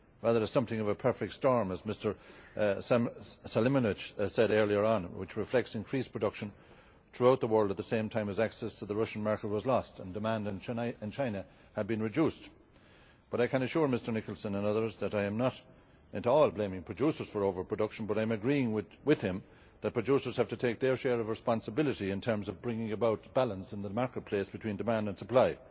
rather it is something of a perfect storm, as Mr Selimovic said earlier on, which reflects increased production throughout the world at the same time as access to the Russian market was lost and demand in China had been reduced. But I can assure Mr Nicholson and others that I am not at all blaming producers for over production, but I am agreeing with him that producers have to take their share of responsibility in terms of bringing about balance in the marketplace between demand and supply.